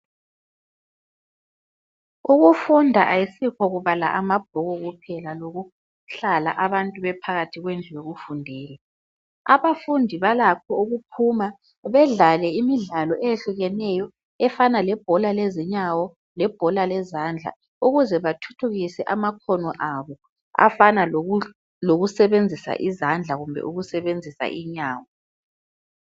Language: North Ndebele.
Ukufunda ayisikho kubala amabhuku kuphela, lokuhlala abantu bephakathi kwendlu yokufundela. Abafundi balakho ukuphuma, bedlale imidlalo eyehlukeneyo efana lebhola lezinyawo, lebhola lezandla, ukuze bathuthukise amakhono abo afana lokusebenzisa izandla kumbe ukusebenzisa inyawo.